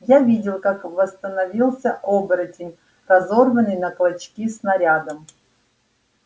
я видел как восстановился оборотень разорванный на клочки снарядом